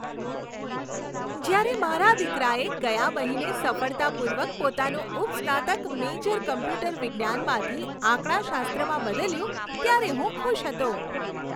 જ્યારે મારા દીકરાએ ગયા મહિને સફળતાપૂર્વક પોતાનું ઉપસ્નાતક મેજર કમ્પ્યુટર વિજ્ઞાનમાંથી આંકડાશાસ્ત્રમાં બદલ્યું ત્યારે હું ખુશ હતો.